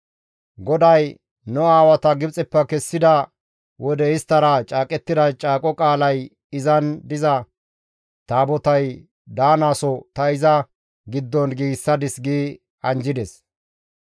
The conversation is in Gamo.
GODAY nu aawata Gibxeppe kessida wode isttara caaqettida caaqo qaalay izan diza Taabotay daanaso ta iza giddon giigsadis» gi anjjides.